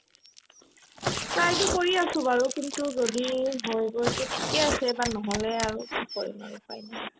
try তো কৰি আছো বাৰু কিন্তু যদি হৈ গৈ to ঠিকে আছে এইবাৰ নহ'লে আৰু কি কৰিম আৰু উপাই নাই